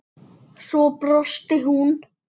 Svo brosti hún.